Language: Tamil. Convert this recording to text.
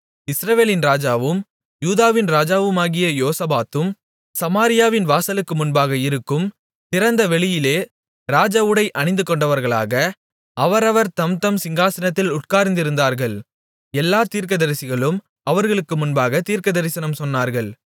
இஸ்ரவேலின் ராஜாவும் யூதாவின் ராஜாவாகிய யோசபாத்தும் சமாரியாவின் வாசலுக்கு முன்பாக இருக்கும் திறந்த வெளியிலே ராஜஉடை அணிந்துகொண்டவர்களாக அவரவர் தம்தம் சிங்காசனத்தில் உட்கார்ந்திருந்தார்கள் எல்லாத் தீர்க்கதரிசிகளும் அவர்களுக்கு முன்பாகத் தீர்க்கதரிசனம் சொன்னார்கள்